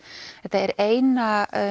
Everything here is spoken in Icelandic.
þetta er eina